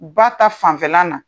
Ba ta fanfɛ la na.